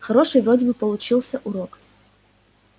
хороший вроде бы получился урок